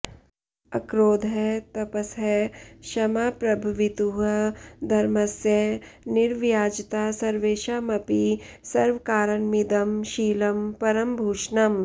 अक्रोधः तपसः क्षमा प्रभवितुः धर्मस्य निर्व्याजता सर्वेषामपि सर्वकारणमिदं शीलं परं भूषणम्